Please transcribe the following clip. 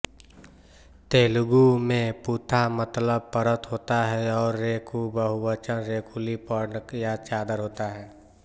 तेलुगु में पुथा मतलब परत होता है और रेकूबहुवचन रेकुलु पर्ण या चादर होता है